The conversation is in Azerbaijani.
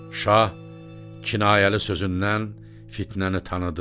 Şah kinayəli sözündən Fitnəni tanıdı.